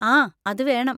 ആ, അതുവേണം.